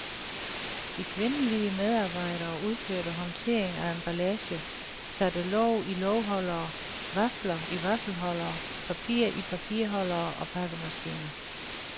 De kvindelige medarbejdere udførte håndtering af emballage, satte låg i lågholdere, vafler i vaffelholdere, papir i papirholdere og pakkemaskiner.